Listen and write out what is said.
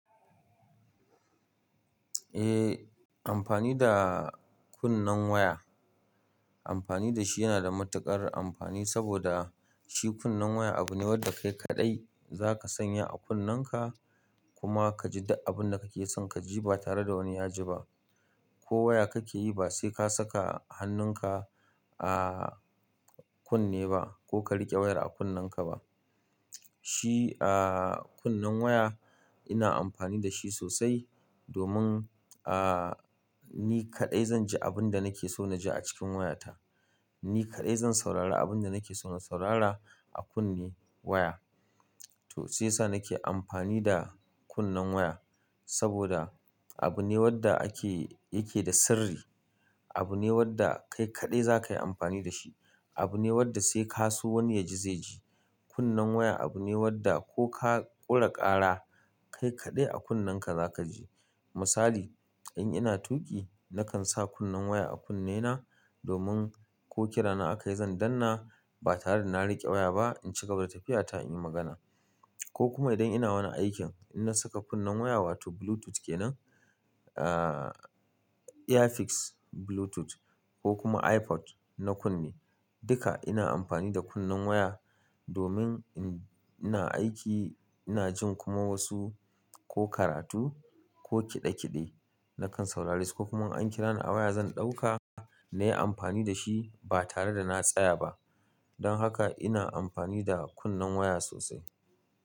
Eh amfani da kunnen waya, amfani da shi yana da matuƙar amfani saboda shi kunnen waya abu ne wanda kai kaɗai zaka sanya a kunnenka kuma kaji abinda kake son kaji ba tare da wani ya ji ba. Ko waya kake yi ba sai ka saka hannunka a kunne ba ko ka riƙe wayar a kunnenka ba. Shi a kunne waya ina amfani da shi sosai domin ahh ni kadai zanji abinda nake so naji acikin waya ta ni kaɗai zan saurara abin da nake so na saurara a kunne waya. To shiyasa nake anfami da kunnen waya saboda abu ne wanda yake da sirri, abu ne wadda kai kadai zakai anfani dashi abune wanda sai kaso wani yaji zai ji. Kunnen waya abu ne wanda ko ka ƙure ƙara kai kaɗai a kunnenka zakaji. Misali in ina tuƙi nakan sa kunnen waya a kunnena domin ko kira na aka yi zan danna ba tare da na riƙe waya ba in ci gaba da tafiyata in yi magana. Ko kuma idan ina wani aikin ina saka kunnen waya wato bluetooth kenan a eafix bluetooth ko kuma iPod na kunne. Duka ina amfani da kunnen waya domin ina aiki ina jin kuma wasu ko karatu ko kiɗe kiɗe nakan saurari su ko kuma an kira ni a waya zan ɗauka na yi amfani da shi ba tare da na tsaya ba. Don haka ina amfani da kunnen waya sosai.